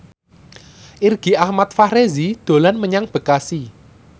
Irgi Ahmad Fahrezi dolan menyang Bekasi